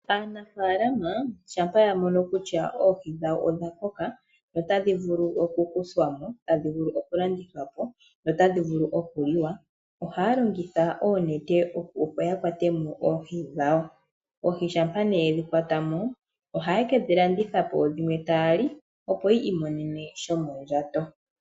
Aanafalama shampa ya mono kutya oohi dhawo odha koka, otadhi vulu okukuthwamo, tadhi vulu okulandithwa po, notadhi vulu okuliwa, ohaya longitha oonete opo ya kuthe mo oohi dhawo. Oohi shampa ne yedhi kwata mo, ohaye kedhi landithapo dhimwe taya li yi imonene mo shomondjato.